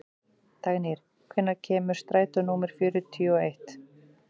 Dagnýr, hvenær kemur strætó númer fjörutíu og eitt?